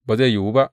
Ba zai yiwu ba.